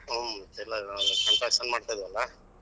ಹ್ಮ್ ಎಲ್ಲಾ ಮಾಡ್ತಿದಿವಲ್ಲಾ.